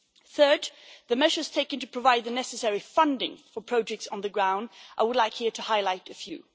Thirdly, the measures taken to provide the necessary funding for projects on the ground, I would like to highlight a few.